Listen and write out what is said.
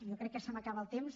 i jo crec que se m’acaba el temps